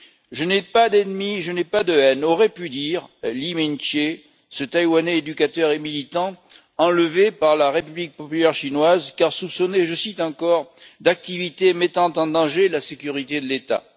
Je n'ai pas d'ennemis, je n'ai pas de haine, aurait pu dire Lee Ming che, cet éducateur et militant taïwanais, enlevé par la République populaire chinoise, car soupçonné, je cite encore d'activités mettant en danger la sécurité de l'État.